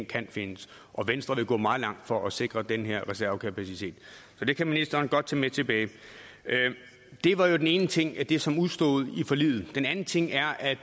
kan findes og venstre vil gå meget langt for at sikre den her reservekapacitet så det kan ministeren godt tage med tilbage det var jo den ene ting det som udestod i forliget den anden ting er at